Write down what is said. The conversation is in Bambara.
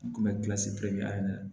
Kun bɛ ayi ne na